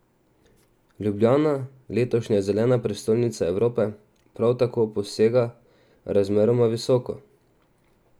Ljubljana, letošnja zelena prestolnica Evrope, prav tako posega razmeroma visoko.